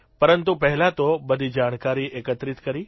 પરંતુ પહેલાં તો બધી જાણકારી એકત્રિત કરી